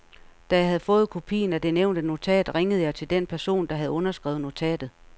Da jeg havde fået kopien af det nævnte notat, ringede jeg til den person, der havde underskrevet notatet.